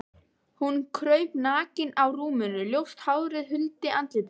Hún kraup nakin á rúminu, ljóst hárið huldi andlitið.